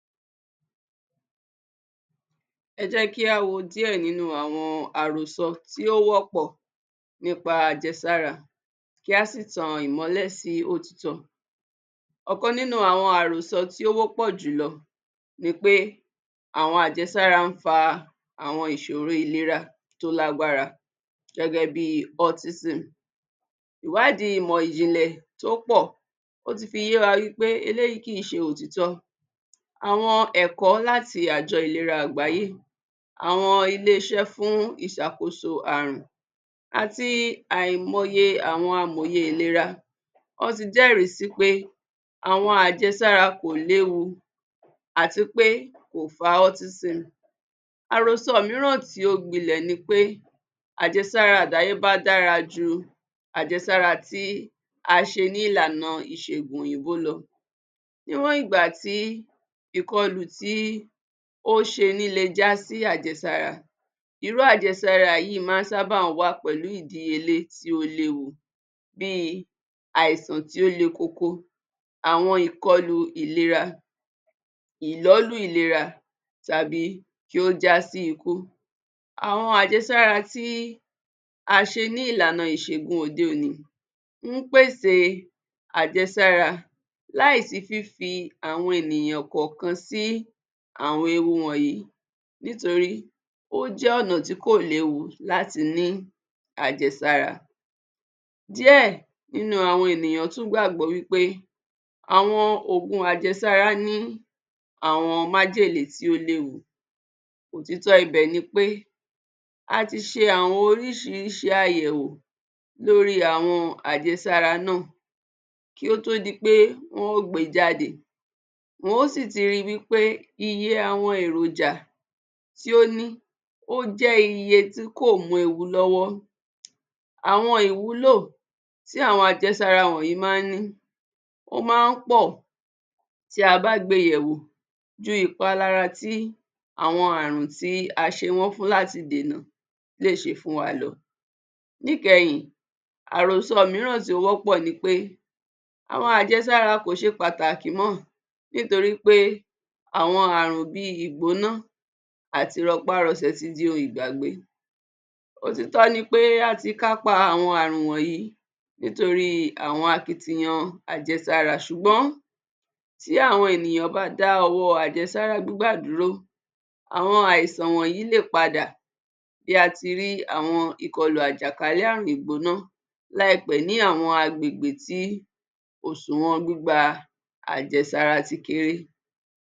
Ẹ jẹ́ kí a wo díẹ̀ nínú àwọn àrósọ tí ó wọ̀pọ́ nípa àjẹsára kí á sì tan ìmọ́lẹ̀ sí òtítọ́. Ọkan nínú àwọn àròsọ tí ó wọ́pọ̀ jùlọ́ ní pe. Àwọn àjẹsára ń fa àwọn ìṣòro ìlera tó lágbara gẹ́gẹ́ bí autism. Ìwádìí ìmọ̀ ìjìnlẹ̀ tó pọ̀ ó tí fi yé wa wí pé eléyìí kì í ṣe òtítọ́. Àwọn ẹ̀kọ́ láti Àjọ Ìlera Àgbàyé, àwọn ilé-iṣẹ́ fún ìṣàkóso àrùn àti àìmọye àwọn amòye ìlera wọ́n ti jẹ́rìí sí pé, àwọn àjẹsára kò léwu àti pé kò fá autism. Àròsọ mìíràn tí ó gbilẹ̀ ní pé; àjẹsára àdáyébá dára jú àjẹsára tí a ṣe ní ìlànà ìṣègùn òyìnbó lọ. Níwọ̀n ìgbà tí ìkọlù tí ò ṣe ní le jásí àjẹsára irú àjẹsára yìí máa ń ṣàbá wá pẹ̀lú ìdíyelé tí ó léwu. Bí i: àìsàn tí ó le kóko, àwọn ìkọlù ìlera, ìlọ́lù ìlera tàbí kí ó jásí ikú. Àwọn àjẹsára tí a ṣe ní ìlànà ìṣègùn òde-òní ó ń pèsè àjẹsára láìsí fífi àwọn ènìyàn kọ̀ọ̀kan sí àwọn ewu wọ̀nyí nítorí ó jẹ́ ọ̀nà tí kò léwu láti ni àjẹsára. Díẹ̀ nínú àwọn ènìyàn tún gbàgbọ́ wí pé àwọn òkun àjẹsára ni àwọn májèlé tí ó léwu. Ótítọ ibẹ̀ ní pé, a tí ṣe àwọn oríṣiríṣi àyẹ̀wò lórí àwọn àjẹsára náà. Kí ó tó di pé wọn ó gbe jáde, wọn ó sì ti rí pe iye àwọn èròjà tí ó ní, ó jẹ́ iye tí kò mí ewu lọ́wọ́. Àwọn ìwúlò tí àwọn àjẹsára wọ̀nyí máa ń ní ó máa ń pọ̀ tí a bá gbé yẹ̀wò ju ìpalára tí àwọn àrùn tí a ṣe wọ́n fún láti dènà lè ṣe fún wa lọ. Níkẹhìn, àròso mìíràn tí ó wọ̀pọ́ ni pé, àwọn àjẹsáeara kò ṣe pàtàkì mọ́ nítorí pé àwọn àrùn bí i: ìgbóná àti rọpárọsẹ ti di ohun ìgbàgbé. Òtítọ́ ni pé àti kápá àwọn àrùn wọnyi nítorí àwọn akitiyan àjẹsára ṣùgbọn tí àwọn ènìyàn bá dáwọ́ àjẹsàra gbígbà dúró àwọn àìsàn wọ̀nyí lè pàda bi a o ti rì àwọn ìkọlọ̀ àjàkálẹ ìgbònà láìpẹ́ ní àwọn agbègbè tí kò súnmọ́ gbígba àjẹsára ti kéré.